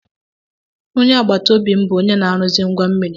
Onye agbata obi m bụ onye na-aruzi ngwa mmiri.